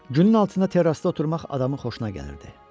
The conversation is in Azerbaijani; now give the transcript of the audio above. Günün altında terrassda oturmaq adamın xoşuna gəlirdi.